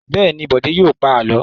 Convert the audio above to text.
Bẹ́ẹ̀ ni, Bọ̀dé yóò pa àlọ́.